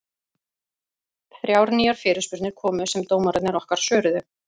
Þrjár nýjar fyrirspurnir komu sem dómararnir okkar svöruðu.